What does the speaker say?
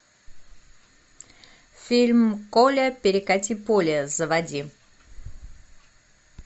фильм коля перекати поле заводи